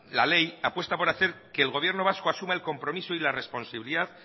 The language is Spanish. la ley apuesta por hacer que el gobierno vasco asuma el compromiso y la responsabilidad